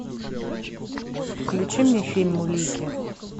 включи мне фильм улики